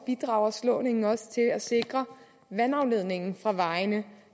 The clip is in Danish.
bidrager slåningen også til at sikre vandafledningen fra vejene